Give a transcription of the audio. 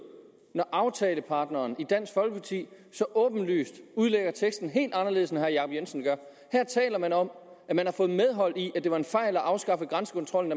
når aftaleparten dansk folkeparti så åbenlyst udlægger teksten helt anderledes end herre jacob jensen gør her taler man om at man har fået medhold i at det var en fejl at afskaffe grænsekontrollen